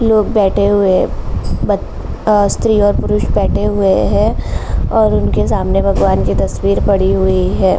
लोग बैठे हुए है बत अ स्त्री और पुरुष बैठे हुए है और उसके सामने भगवन की तस्वीर पड़ी हुई है।